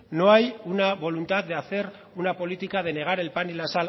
no hay una voluntad de hacer una política de negar el pan y la